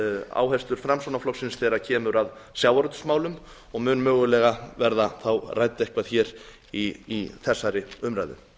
áherslur framsóknarflokksins þegar kemur að sjávarútvegsmálum og mun mögulega verða þá rædd eitthvað í þessari umræðu